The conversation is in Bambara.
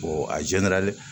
a